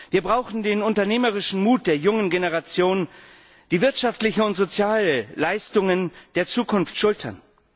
Wir brauchen den unternehmerischen Mut der jungen Generation, die wirtschaftliche und soziale Leistungen der Zukunft schultern.